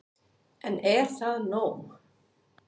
En er það nóg